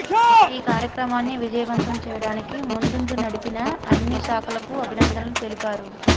ఈ కార్యక్రమాన్ని విజయవంతం చేయడానికి ముందుండి నడిపిన అన్ని శాఖలకు అభినందనలు తెలిపారు